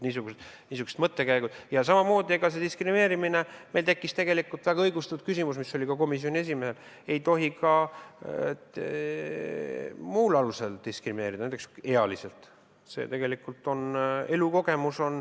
Meil tekkis väga õigustatud küsimus, mis oli ka komisjoni esimehel, et ei tohi ka muul alusel diskrimineerida, näiteks ealisel alusel.